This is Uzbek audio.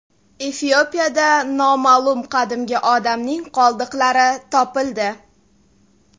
Efiopiyada noma’lum qadimgi odamning qoldiqlari topildi.